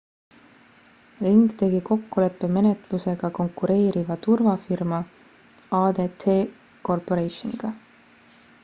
ring tegi kokkuleppemenetluse ka konkureeriva turvafirma adt corporationiga